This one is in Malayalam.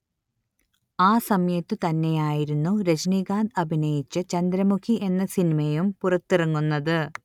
ആ സമയത്തു തന്നെയായിരുന്നു രജനീകാന്ത് അഭിനയിച്ച ചന്ദ്രമുഖി എന്ന സിനിമയും പുറത്തിറങ്ങുന്നത്